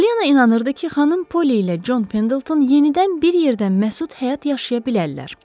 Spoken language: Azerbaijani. Pollyanna inanırdı ki, xanım Polly ilə Con Pendelton yenidən bir yerdə məsud həyat yaşaya bilərlər.